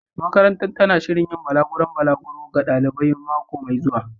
Makarantar tana shirin yin balaguron balaguro ga ɗalibai mako mai zuwa.